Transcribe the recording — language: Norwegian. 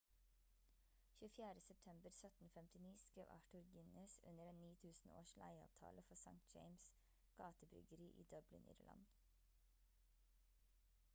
24. september 1759 skrev arthur guinness under en 9000-års leieavtale for st james' gate-bryggeri i dublin irland